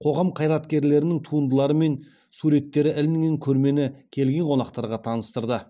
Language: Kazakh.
қоғам қайраткерлерінің туындылары мен суреттері ілінген көрмені келген қонақтарға таныстырды